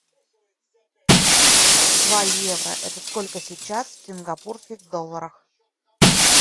два евро это сколько сейчас в сингапурских долларах